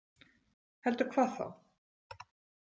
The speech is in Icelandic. Heldur hvað þá?